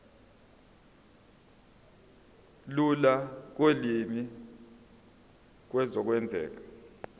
lula kolimi kuzokwenzeka